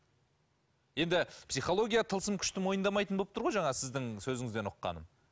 енді психология тылсым күшті мойындамайтын болып тұр ғой жаңағы сіздің сөзіңізден ұққаным